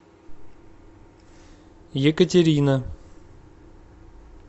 екатерина